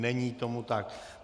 Není tomu tak.